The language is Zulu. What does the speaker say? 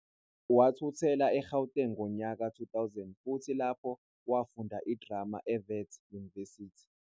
Wathuthela eGauteng ngonyaka ka-2000 futhi lapho, wafunda iDrama eWits University.